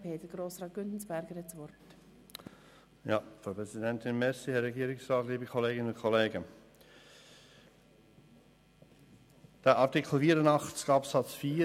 Der Artikel 84 Absatz 4 soll die Umsetzung sein von Artikel 83 Absatz 1